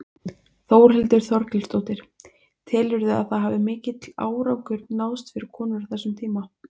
Þórhildur Þorkelsdóttir: Telurðu að það hafi mikill árangur náðst fyrir konur á þessum tíma?